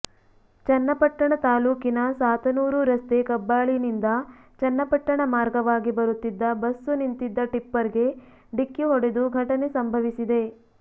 ಚನ್ನಪಟ್ಟಣ ತಾಲ್ಲೂಕಿನ ಸಾತನೂರು ರಸ್ತೆಕಬ್ಬಾಳಿನಿಂದ ಚನ್ನಪಟ್ಟಣ ಮಾರ್ಗವಾಗಿ ಬರುತ್ತಿದ್ದ ಬಸ್ಸು ನಿಂತಿದ್ದ ಟಿಪ್ಪರ್ ಗೆ ಡಿಕ್ಕಿ ಹೊಡೆದು ಘಟನೆ ಸಂಭವಿಸಿದೆ